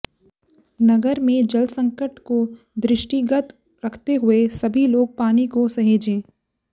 नगर में जल संकट को दृष्टिगत रखते हुए सभी लोग पानी को सहेजें